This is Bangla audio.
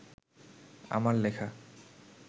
আমার লেখা